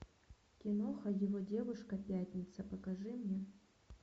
киноха его девушка пятница покажи мне